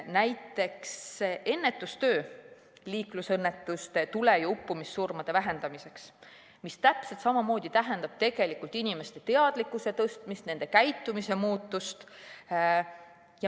Näiteks, ennetustöö liiklusõnnetuste ning tule‑ ja uppumissurmade vähendamiseks, mis täpselt samamoodi tähendab tegelikult inimeste teadlikkuse tõstmist, nende käitumise muutust.